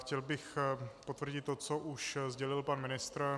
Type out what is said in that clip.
Chtěl bych potvrdit to, co už sdělil pan ministr.